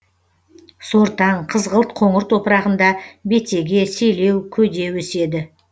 сортаң қызғылт қоңыр топырағында бетеге селеу көде өседі